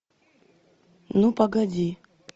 ну погоди